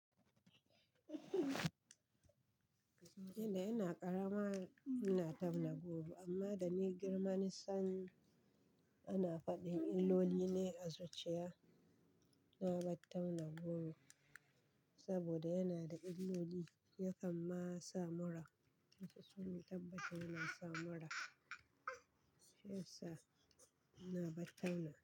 Inda ina karama ina tauna goro amma da ni girma na san ana faɗin illoli ne a zuciya na bar tauna goro saboda yana da illoli yakan ma sa mura su suni tabbatat yana sa mura. Shiyasa ina battauna.